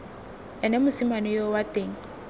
ene mosimane yoo wa teng